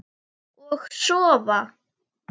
Og sofa.